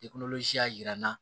y'a jira n na